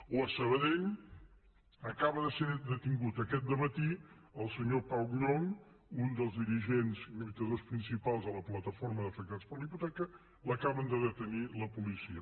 o a sabadell acaba de ser detingut aquest dematí el senyor pau llonch un dels dirigents i lluitadors principals de la plataforma d’afectats per la hipoteca l’acaben de detenir per la policia